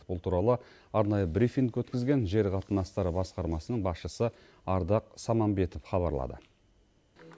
бұл туралы арнайы брифинг өткізген жер қатынастары басқармасының басшысы ардақ самамбетов хабарлады